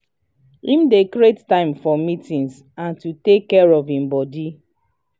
him dey create time for meetings and to take care of him body.